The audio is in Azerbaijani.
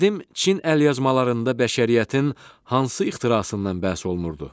Qədim Çin əlyazmalarında bəşəriyyətin hansı ixtirasından bəhs olunurdu?